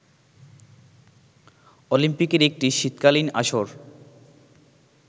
অলিম্পিকের একটি শীতকালীন আসর